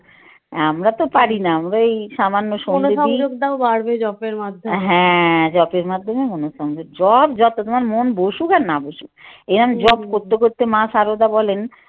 আমরা তো পারি না আমরা এই সামান্য হ্যাঁ যপের মাধ্যমে মনসংযোগ বাড়বে যপ যত তোমার মন বসুক আর না বসুক এরম যপ করতে করতে মা সারদা বলেন